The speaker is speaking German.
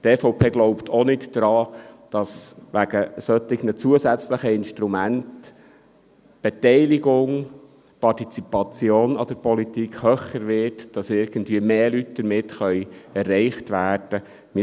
Die EVP glaubt auch nicht daran, dass wegen solcher zusätzlichen Instrumente die Beteiligung an der Politik höher wird und mehr Leute damit erreicht werden können.